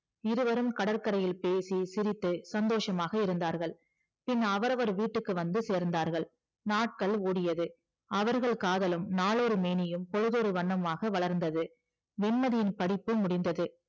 இருவரும் கடற்கரையில் பேசி சிரித்து சந்தோசமாக இருந்தார்கள் பின் அவரவர் வீட்டுக்கு வந்து சேர்ந்தார்கள் நாட்கள் ஓடியது அவர்களது காதலும் நாளொரு மேனியும் பொழுதொரு வண்ணமுமாக வளர்ந்தது வெண்மதியின் படிப்பு முடிந்தது